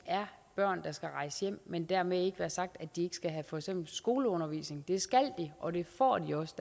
er børn der skal rejse hjem men dermed ikke være sagt at de ikke skal have for eksempel skoleundervisning det skal de og det får de også